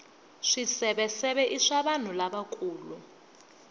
swiseveseve i swa vanhu lavakulu